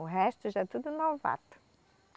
O resto já é tudo novato.